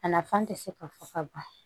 A nafan tɛ se ka fɔ ka ban